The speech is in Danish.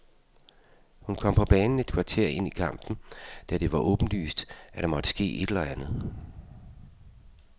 Hun kom på banen et kvarter ind i kampen, da det var åbenlyst, at der måtte ske et eller andet.